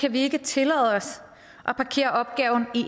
vi ikke tillade os at parkere opgaven